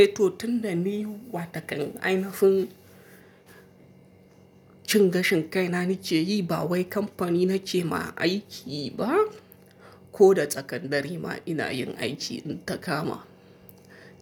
Eh to tun da ni wa takan ainafin cin gashin kai na nike yi ba wai kamfani nike ma aiki ba ko da tsakan dare ma ina yin aiki in ta kama.